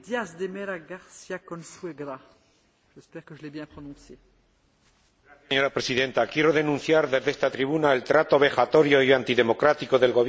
Señora Presidenta, quiero denunciar desde esta tribuna el trato vejatorio y antidemocrático del gobierno de Hugo Chávez hacia quienes defienden la libertad y la defensa de los derechos fundamentales.